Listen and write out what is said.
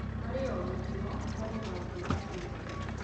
Harĩ o gĩkĩro, harĩ na ũndũ wa kwĩruta.